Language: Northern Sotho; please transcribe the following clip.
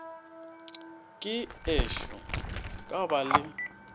ke ešo ka ba le